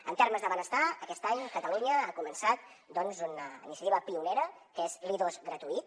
en termes de benestar aquest any catalunya ha començat doncs una iniciativa pionera que és l’i2 gratuït